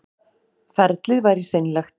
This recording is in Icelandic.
Ferlið væri seinlegt